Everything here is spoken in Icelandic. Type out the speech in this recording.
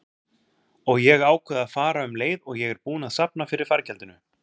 Og ég ákveð að fara um leið og ég er búin að safna fyrir fargjaldinu.